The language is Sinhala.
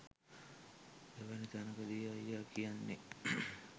එවැනි තැනකදී අයියා කියන්නේ